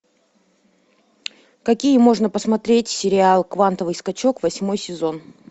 какие можно посмотреть сериалы квантовый скачок восьмой сезон